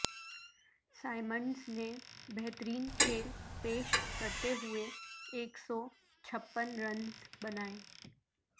Symonds نے بہترین کھیل پیش کرتے ہوئے ایک سو چھپن رنز بنائے